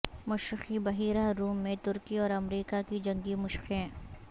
مشرقی بحیرہ روم میں ترکی اور امریکہ کی جنگی مشقیں